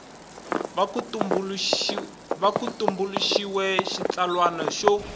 va ku tumbuluxiwile xitsalwana xo